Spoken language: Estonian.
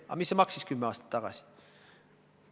Aga mis see maksis kümme aastat tagasi?